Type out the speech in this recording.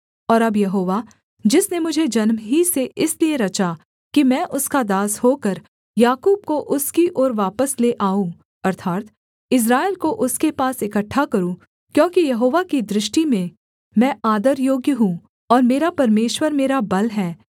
और अब यहोवा जिसने मुझे जन्म ही से इसलिए रचा कि मैं उसका दास होकर याकूब को उसकी ओर वापस ले आऊँ अर्थात् इस्राएल को उसके पास इकट्ठा करूँ क्योंकि यहोवा की दृष्टि में मैं आदर योग्य हूँ और मेरा परमेश्वर मेरा बल है